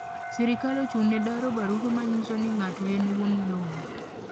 Sirkal ochung'ne daro barupe manyisoni ng'ato en wuon lowo.